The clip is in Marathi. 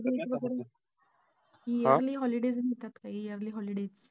Yearly holidays मिळतात का yearly holidays?